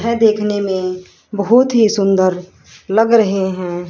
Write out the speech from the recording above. यह देखने में बहुत ही सुंदर लग रहे हैं।